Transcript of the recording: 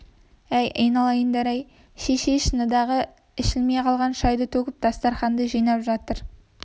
әй айналайындар-ай деп шешей шыныдағы ішілмей қалған шайды төгіп дастарқанды жинап жатыр